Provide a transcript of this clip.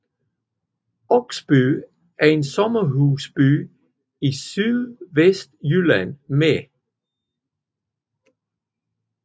Oksby er en sommerhusby i Sydvestjylland med